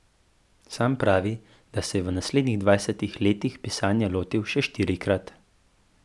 Sam pravi, da se je v naslednjih dvajsetih letih pisanja lotil še štirikrat.